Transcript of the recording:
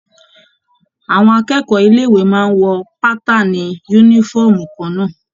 Àwọn akẹ́kọ̀ọ́ ilé ìwé máa n wọ bàtààni yúnífọ̀ọ́mù kànnà.